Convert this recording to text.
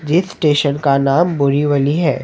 जिस स्टेशन का नाम बोरीवली हैं।